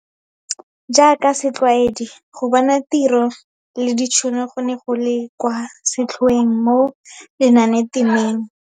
Jaaka setlwaedi, go bona tiro le ditšhono go ne go le kwa setlhoeng mo lenanetemeng.